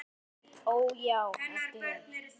Ó, já, æpti hún.